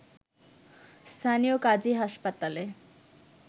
স্থানীয় কাজী হাসপাতালে